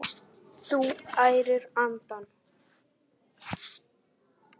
Þú ærir andana!